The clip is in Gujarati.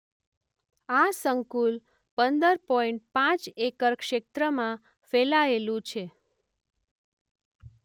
આ સંકુલ પંદર પોઈન્ટ પાંચ એકર ક્ષેત્રમાં ફેલાયેલું છે.